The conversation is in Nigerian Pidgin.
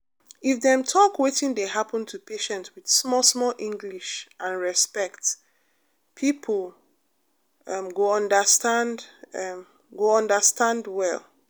if dem talk wetin dey happen to patient with small small english and respect people um go understand um go understand well.